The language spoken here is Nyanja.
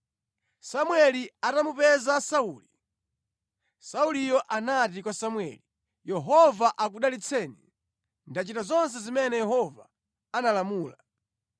Samueli atamupeza Sauli, Sauliyo anati kwa Samueli, “Yehova akudalitseni! Ndachita zonse zimene Yehova analamula.”